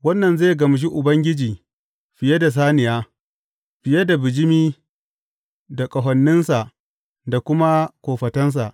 Wannan zai gamshi Ubangiji fiye da saniya, fiye da bijimi da ƙahoninsa da kuma kofatansa.